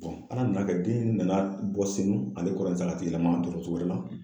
ala nana kɛ den nana